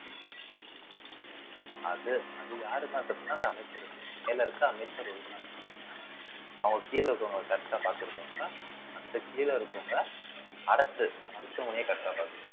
அது அது யாரு மேல தப்புன்னா அந்த அமைச்சரை மேல இருக்க அமைச்சர் அவங்க கீழே இருக்கிறவங்க correct ஆ பார்த்திருப்பாங்க அந்த கீழே இருக்கிறவங்க அரசு மருத்துவமனையை correct ஆ